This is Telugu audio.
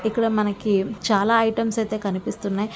ఇక్కడ మనకి చాలా ఐటెమ్స్ అయితే కనిపిస్తున్నాయి.